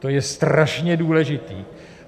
To je strašně důležitě.